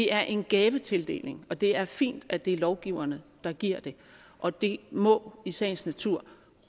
er en gavetildeling og det er fint at det er lovgiverne der giver det og det må i sagens natur